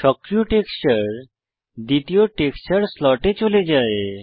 সক্রিয় টেক্সচার দ্বিতীয় টেক্সচার স্লটে চলে যায়